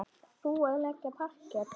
Þú að leggja parket.